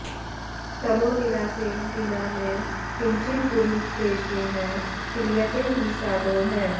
तमो निरासेन विना न किञ्चित् गुरूपदेशैः क्रियते हि साधोः